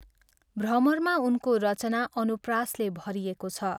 भ्रमरमा उनको रचना अनुप्रासले भरिएको छ।